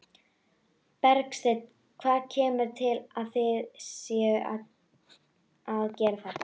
Bergsteinn, hvað kemur til að þið séuð að gera þetta?